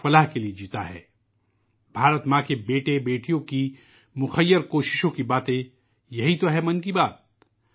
'من کی بات' ایک ایسا پروگرام ہے جس میں بھارت ماتا کے بیٹوں اور بیٹیوں کی انسان دوست کوششوں کے بارے میں باتیں کی جاتی ہیں